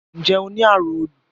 Nje o ni arun olu?